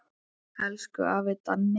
Elsku afi Danni.